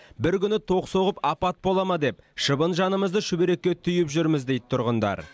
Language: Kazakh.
бір күні ток соғып апат бола ма деп шыбын жанымызды шүберекке түйіп жүрміз дейді тұрғындар